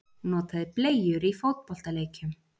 Notaði bleyjur í fótboltaleikjum